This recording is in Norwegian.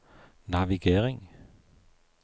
navigering